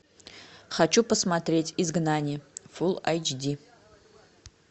хочу посмотреть изгнание фул айч ди